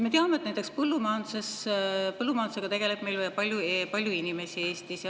Me teame, et näiteks põllumajandusega tegeleb Eestis palju inimesi.